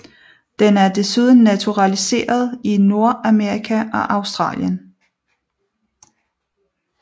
Den er desuden naturaliseret i Nordamerika og Australien